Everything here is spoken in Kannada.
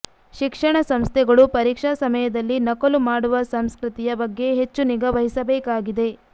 ಶಿಕ್ಷಣ ಸಂಸ್ಥೆಗಳು ಪರೀಕ್ಷಾ ಸಮಯದಲ್ಲಿ ನಕಲು ಮಾಡುವ ಸಂಸ್ಕೃತಿಯ ಬಗ್ಗೆ ಹೆಚ್ಚು ನಿಗಾ ವಹಿಸಬೇಕಾಗಿದೆ